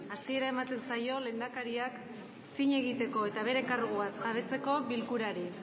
hasiera ematen zaio lehendakariak zin egiteko eta bere karguaz jabetzeko bilkurari